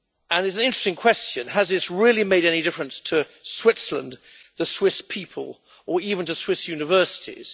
It is an interesting question has this really made any difference to Switzerland, the Swiss people, or even to Swiss universities?